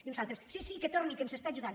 i uns altres sí sí que torni que ens es·tà ajudant